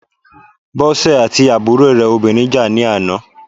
Bọ́sè àti àbúrò rẹ̀ obìnrin jà ní àná.